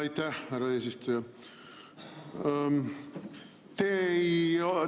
Aitäh, härra eesistuja!